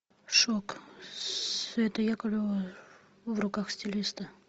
шок света яковлева в руках стилиста